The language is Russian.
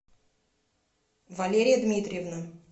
валерия дмитриевна